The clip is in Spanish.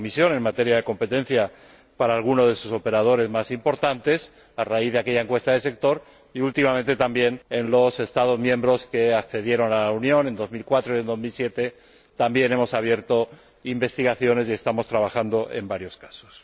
en materia de competencia en relación con alguno de sus operadores más importantes, a raíz de aquella encuesta de sector, ni últimamente en los Estados miembros que accedieron a la Unión en 2004 y en 2007, en los que también hemos abierto investigaciones y estamos trabajando en varios casos.